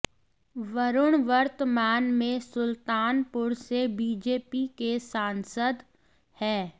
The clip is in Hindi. वरुण वर्तमान में सुल्तानपुर से बीजेपी के सांसद है